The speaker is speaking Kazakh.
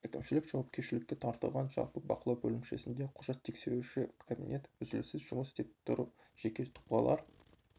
әкімшілік жауапкершілікке тартылған жалпы бақылау бөлімшесінде құжат тексеруші кабинет үзіліссіз жұмыс істеп тұр жеке тұлғалар